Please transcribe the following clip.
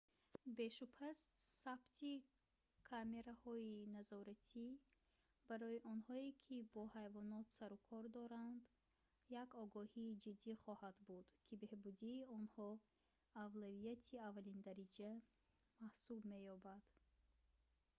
бешубҳа сабти камераҳои назоратӣ барои онҳое ки бо ҳайвонот сарукор доранд як огоҳии ҷиддӣ хоҳад буд ки беҳбудии онҳо авлавияти аввалиндараҷа маҳсуб меёбад